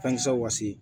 Fɛnkisɛw wase